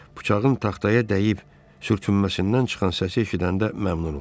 Bıçağın taxtaya dəyib sürtünməsindən çıxan səsi eşidəndə məmnun oldu.